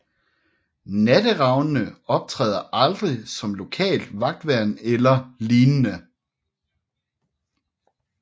Natteravnene optræder aldrig som lokalt vagtværn eller lignende